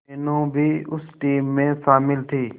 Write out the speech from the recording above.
मीनू भी उस टीम में शामिल थी